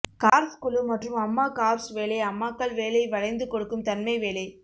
corps குழு மற்றும் அம்மா கார்ப்ஸ் வேலை அம்மாக்கள் வேலை வளைந்து கொடுக்கும் தன்மை வேலை